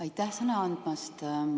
Aitäh sõna andmast!